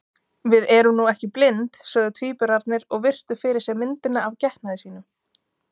Við erum nú ekki blind, sögðu tvíburarnir og virtu fyrir sér myndina af getnaði sínum.